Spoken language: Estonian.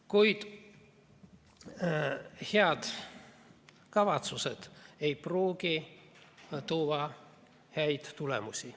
Kuid head kavatsused ei pruugi tuua häid tulemusi.